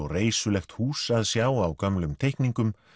reisulegt hús að sjá á gömlum teikningum